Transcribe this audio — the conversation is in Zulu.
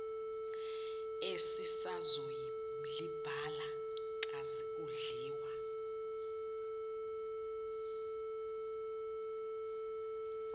esisazoyolibhala kazi udliwa